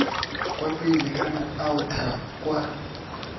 kwa pele kana aotha kwa